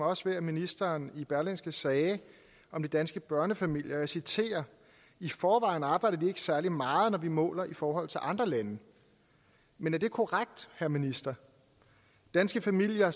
også ved at ministeren i berlingske sagde om de danske børnefamilier og jeg citerer i forvejen arbejder de ikke særlig meget når vi måler i forhold til andre lande men er det korrekt herre minister danske familier